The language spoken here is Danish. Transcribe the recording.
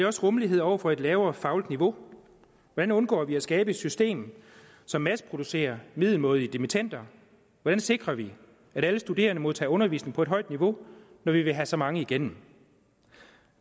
også rummelighed over for et lavere fagligt niveau hvordan undgår vi at skabe et system som masseproducerer middelmådige dimittender hvordan sikrer vi at alle studerende modtager undervisning på et højt niveau når vi vil have så mange igennem